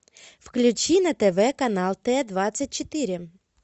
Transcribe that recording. включи на тв канал т двадцать четыре